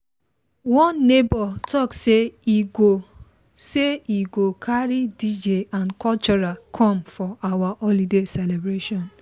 one neighbor talk say e go say e go carry dj and cultural come for our holiday celebration